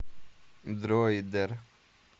дроидер